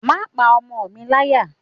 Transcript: Má pa ọmọ mi láyà.